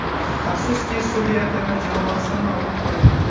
Afsuski, Suriya terma jamoasidan mag‘lub bo‘ldik.